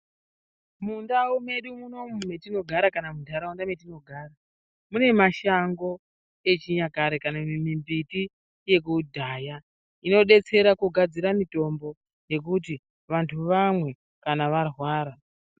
Mundau mwedu munomu metinogara kana muntaraunda mwetinogara munemashango echinyakare kanamimiti yekudhaya inodetsera kugadzira mitombo yekuti vantu vanwe kanavarwara.